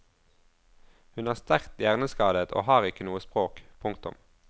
Hun er sterkt hjerneskadet og har ikke noe språk. punktum